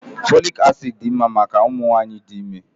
Fòlị́k acị́d dị mma maka ụmụ nwanyị dị ime